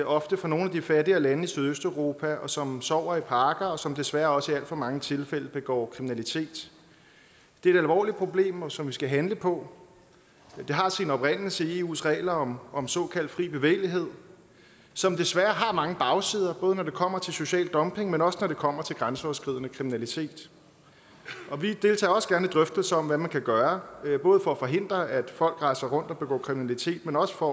ofte fra nogle af de fattigere lande i sydøsteuropa som sover i parker og som desværre også i alt for mange tilfælde begår kriminalitet det er et alvorligt problem som vi skal handle på det har sin oprindelse i eus regler om om såkaldt fri bevægelighed som desværre har mange bagsider både når det kommer til social dumping men også når det kommer til grænseoverskridende kriminalitet vi deltager også gerne i drøftelser om hvad man kan gøre både for at forhindre at folk rejser rundt og begår kriminalitet men også for